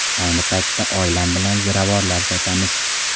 Ayni paytda oilam bilan ziravorlar sotamiz.